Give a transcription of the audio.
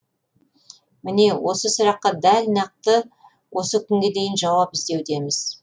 міне осы сұраққа дәл нақты осы күнге дейін жауап іздеудеміз